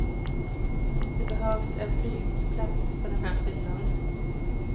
Det behövs en flygplats på den här sidan.